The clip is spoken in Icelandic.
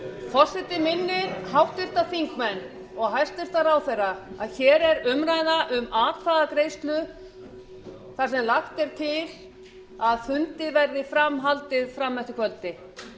forseti minnir háttvirtir þingmenn og hæstvirtur ráðherra á að hér er umræða um atkvæðagreiðslu þar sem lagt er til að fundi verði fram haldið fram eftir kvöldi